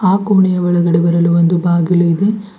ಆ ಕೊಣೆಯ ಒಳಗಡೆ ಬರಲು ಒಂದು ಬಾಗಿಲು ಇದೆ.